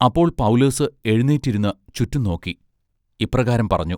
അപ്പോൾ പൗലോസ് എഴുനീറ്റ് ഇരുന്ന് ചുറ്റും നോക്കി ഇപ്രകാരം പറഞ്ഞു.